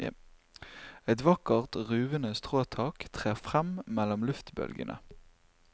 Et vakkert, ruvende stråtak trer frem mellom luftbølgende.